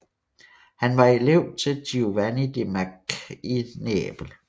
Han var elev til Giovanni de Macque i Neapel